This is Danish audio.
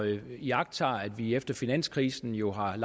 iagttage at vi efter finanskrisen jo har